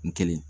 N kelen